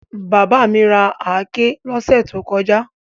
Bàbá mi ra àáké lọ́sẹ̀ tó kọjá.